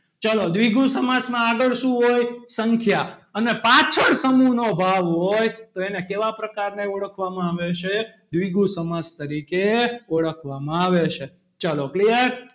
ચલો દ્વિગુ સમાસમાં આગળ શું હોય સંખ્યા અને પાછળ સમૂહ નો ભાવ હોય તો એને કેવા પ્રકારને ઓળખવામાં આવે છે દ્વિગુ સમાસ તરીકે ઓળખવામાં આવે છે ચલો clear